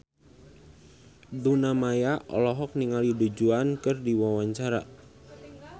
Luna Maya olohok ningali Du Juan keur diwawancara